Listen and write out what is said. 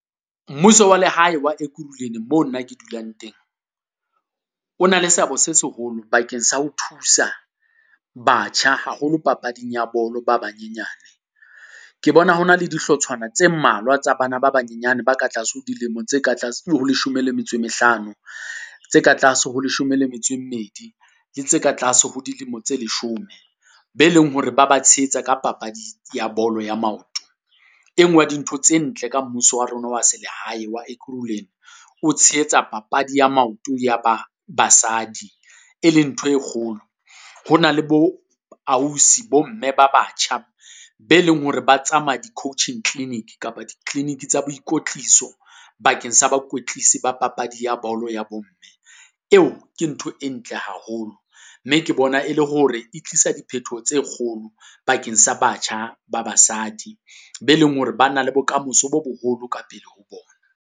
Mmuso wa lehae wa Ekhuruleni moo nna ke dulang teng, o na le seabo se seholo bakeng sa ho thusa batjha haholo papading ya bolo ba banyenyane. Ke bona ho na le dihlotshwana tse mmalwa tsa bana ba banyenyane ba ka tlase ho dilemo tse leshome le metso e mehlano, tse ka tlase ho leshome le metso e mmedi, le tse ka tlase ho dilemo tse leshome. Be leng hore ba ba tshehetsa ka papadi ya bolo ya maoto, e nngwe ya dintho tse ntle ka mmuso wa rona wa se lehae wa Ekhuruleni, o tshehetsa papadi ya maoto ya ba basadi, e leng ntho e kgolo. Ho na le bo ausi bo mme ba batjha be leng hore ba tsamaya di-coaching clinic kapa di-clinic tsa boikotliso bakeng sa bakwetlisi ba papadi ya bolo ya bo mme, eo ke ntho e ntle haholo. Mme ke bona e le hore e tlisa diphethoho tse kgolo bakeng sa batjha ba basadi be leng hore ba na le bokamoso bo boholo ka pele ho bona.